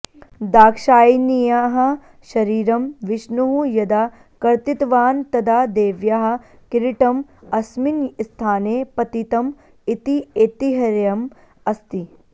दाक्षायिण्याः शरीरं विष्णुः यदा कर्तितवान् तदा देव्याः किरीटम् अस्मिन् स्थाने पतितम् इति ऐतिह्यम् अस्ति